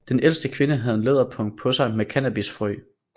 Den ældste kvinde havde en læderpung på sig med cannabisfrøi